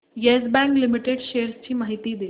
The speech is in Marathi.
येस बँक लिमिटेड शेअर्स ची माहिती दे